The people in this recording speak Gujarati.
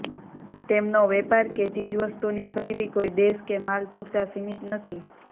તેમનો વેપાર કે ચીજવસ્તુની ખરીદી કોઈ દેશ કે માલ પૂરતાં સીમિત નથી